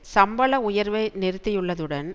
சம்பள உயர்வை நிறுத்தியுள்ளதுடன்